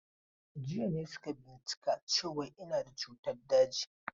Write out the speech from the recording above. Jiya suka bincika cewan ina da cutan daji.